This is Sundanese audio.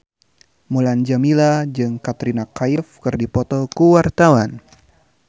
Mulan Jameela jeung Katrina Kaif keur dipoto ku wartawan